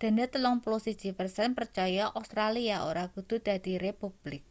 dene 31 persen percaya australia ora kudu dadi republik